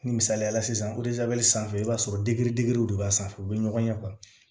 Ni misaliyala sisan sanfɛ i b'a sɔrɔ degeli digiraw de b'a sanfɛ u bɛ ɲɔgɔn ye